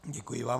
Děkuji vám.